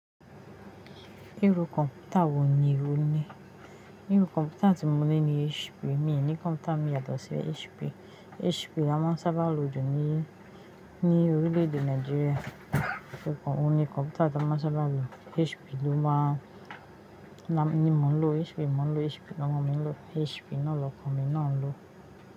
Irú kọ̀mpútà wo ni o ní? Irú kọ̀mpútà tí mo ní ni HP, mi ò ní kọ̀mpútà mi yàtọ̀ sí HP. HP ni a máa ń sábà lò jù ní, ní orílẹ̀-èdè Nàìjíríà. O kọ́, o ní kọ̀mpútà tí a máa ń sábà lò, HP ló máa ń ni mo ń lò HP ni mo ń lò HP lawọn ọmọ mi ń lò HP, ná lọkọ̀ mi na a ń lò.